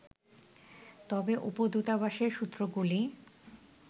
তবে উপ-দূতাবাসের সূত্রগুলি